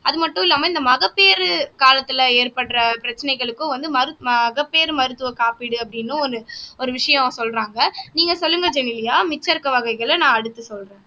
அது மட்டும் இல்லாம இந்த மகப்பேறு காலத்துல ஏற்படுற பிரச்சனைகளுக்கும் வந்து மருத் மகப்பேறு மருத்துவ காப்பீடு அப்படின்னும் ஒண்ணு ஒரு விஷயம் சொல்றாங்க நீங்க சொல்லுங்க ஜெனிலியா மிச்சம் இருக்க வகைகளை நான் அடுத்து சொல்றேன்